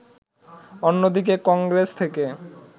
অন্যদিকে কংগ্রেস থেকে